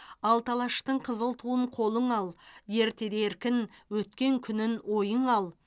алты алаштың қызыл туын қолыңа ал ертеде еркін өткен күнін ойыңа ал